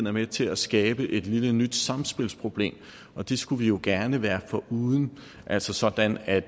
er med til at skabe et lille nyt samspilsproblem og det skulle vi jo gerne være foruden altså sådan at